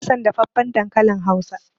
Bana son dafaffen dankalin hausa.